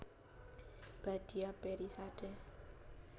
Badia Perizade